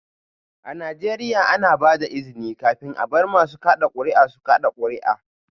A Najeriya, ana ba da izini kafin a bar masu kada kuri'a su kada kuri'a